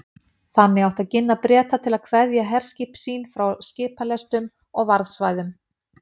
Þannig átti að ginna Breta til að kveðja herskip sín frá skipalestum og varðsvæðum